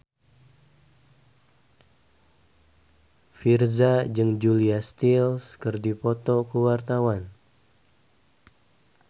Virzha jeung Julia Stiles keur dipoto ku wartawan